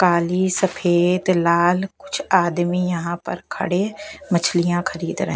काली सफेद लाल कुछ आदमी यहाँ पर खड़े मछलियाँ खरीद रहे --